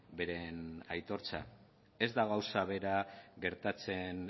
beren aitortza ez da gauza bera gertatzen